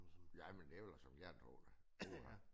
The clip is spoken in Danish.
Ja men det var da som jeg ville tro det uha